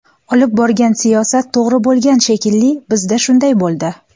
Olib borgan siyosat to‘g‘ri bo‘lgan shekilli, bizda shunday bo‘ldi.